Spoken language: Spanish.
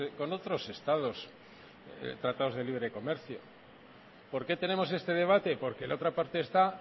con otros estados tratados de libre y comercio por qué tenemos este debate porque en la otra parte está